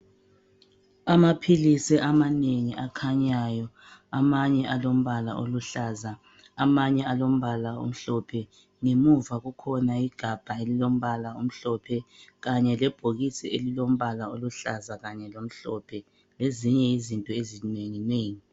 Amaphilisi amanengi akhanyayo amanye alombala oluhlaza amanye alombala omhlophe ngemuva kukhona igabha elilombala omhlophe kanye lebhokisi elilombala oluhlaza kanye lomhlophe lezinye izinto ezinenginengi.